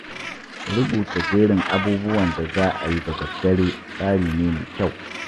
Rubuta jerin abubuwan da za a yi da daddare tsari ne mai kyau.